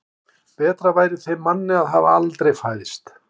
Betra væri þeim manni að hafa aldrei fæðst.